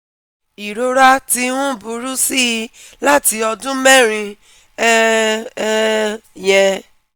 Ìrora ti ń burú sí i láti ọdún mẹ́rin um um yẹn